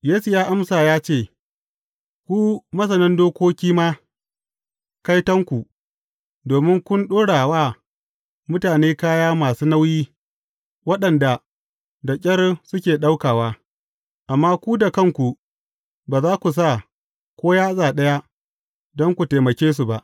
Yesu ya amsa ya ce, Ku masanan dokoki ma, kaitonku, domin kun ɗora wa mutane kaya masu nauyi waɗanda da ƙyar suke ɗaukawa, amma ku da kanku ba za ku sa ko yatsa ɗaya, don ku taimake su ba.